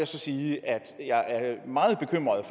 så sige at jeg er meget bekymret